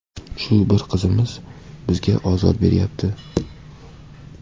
Shu bir qizimiz bizga ozor beryapti.